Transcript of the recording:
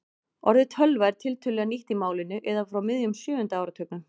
Orðið tölva er tiltölulega nýtt í málinu eða frá miðjum sjöunda áratugnum.